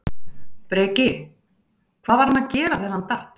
Breki: Hvað var hann að gera þegar hann datt?